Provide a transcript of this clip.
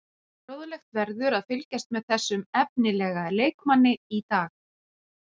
Fróðlegt verður að fylgjast með þessum efnilega leikmanni í dag.